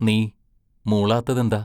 നീ മൂളാത്തതെന്താ?